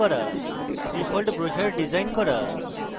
3fold brochure design করা